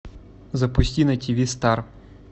запусти на тиви стар